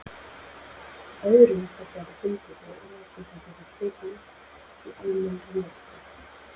Öðrum þótti þetta fyndið og orðatiltækið var tekið upp í almennri notkun.